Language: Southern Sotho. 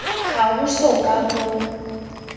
ha ho so ka ho